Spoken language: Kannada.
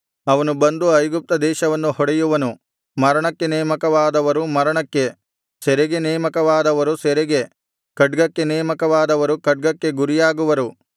ಅವನು ಬಂದು ಐಗುಪ್ತ ದೇಶವನ್ನು ಹೊಡೆಯುವನು ಮರಣಕ್ಕೆ ನೇಮಕವಾದವರು ಮರಣಕ್ಕೆ ಸೆರೆಗೆ ನೇಮಕವಾದವರು ಸೆರೆಗೆ ಖಡ್ಗಕ್ಕೆ ನೇಮಕವಾದವರು ಖಡ್ಗಕ್ಕೆ ಗುರಿಯಾಗುವರು